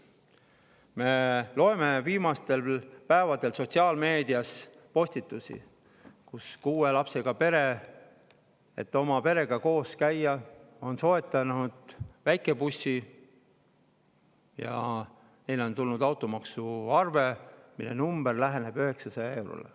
Me loeme viimastel päevadel sotsiaalmeedias postitusi, et kuue lapsega pere, et kogu perega koos, on soetanud väikebussi ja neile on tulnud automaksuarve, mis läheneb 900 eurole.